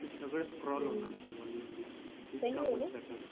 हे सगळं स्क्रोल होणार समजून घे इतका नुसता टच